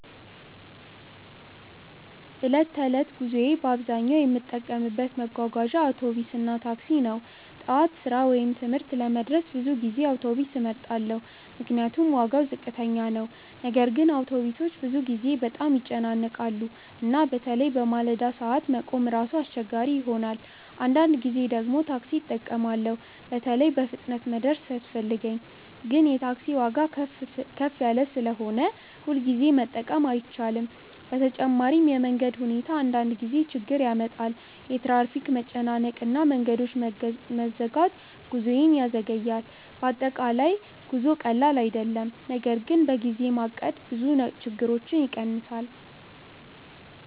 በዕለት ተዕለት ጉዞዬ በአብዛኛው የምጠቀምበት መጓጓዣ አውቶቢስ እና ታክሲ ነው። ጠዋት ስራ ወይም ትምህርት ለመድረስ ብዙ ጊዜ አውቶቢስ እመርጣለሁ፤ ምክንያቱም ዋጋው ዝቅተኛ ነው። ነገር ግን አውቶቢሶች ብዙ ጊዜ በጣም ይጨናነቃሉ እና በተለይ በማለዳ ሰዓት መቆም ራሱ አስቸጋሪ ይሆናል። አንዳንድ ጊዜ ደግሞ ታክሲ እጠቀማለሁ፣ በተለይ በፍጥነት መድረስ ሲያስፈልገኝ። ግን የታክሲ ዋጋ ከፍ ስለሆነ ሁልጊዜ መጠቀም አይቻልም። በተጨማሪም የመንገድ ሁኔታ አንዳንድ ጊዜ ችግር ያመጣል፤ የትራፊክ መጨናነቅ እና መንገዶች መዘጋት ጉዞዬን ያዘገያል። በአጠቃላይ ጉዞ ቀላል አይደለም፤ ነገር ግን በጊዜ ማቀድ ብዙ ችግሮችን ይቀንሳል።